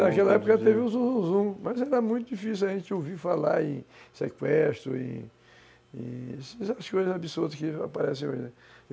É, naquela época teve um zum zum zum, mas era muito difícil a gente ouvir falar em sequestro e e essas coisas absurdas que aparecem hoje.